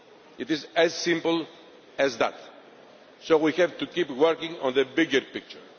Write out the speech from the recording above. It is as simple as that. So we have to keep working on the bigger picture.